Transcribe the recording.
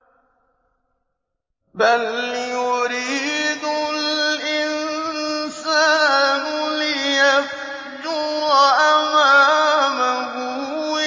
بَلْ يُرِيدُ الْإِنسَانُ لِيَفْجُرَ أَمَامَهُ